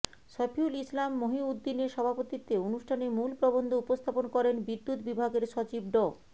সফিউল ইসলাম মহিউদ্দিনের সভাপতিত্বে অনুষ্ঠানে মূল প্রবন্ধ উপস্থাপন করেন বিদ্যুৎ বিভাগের সচিব ড